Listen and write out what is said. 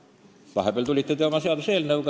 Vahepeal tulite teie oma seaduseelnõuga.